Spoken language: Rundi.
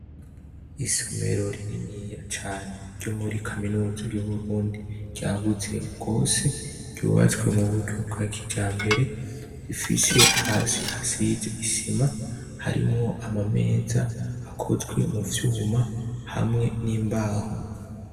Isomero rininiya cane ryo muri kaminuza y'Uburundi ryagutse gose ryubatswe muburyo bwa kijambere, rifise hasi hasize isima harimwo amameza akozwe muvyuma hamwe n'imbaho.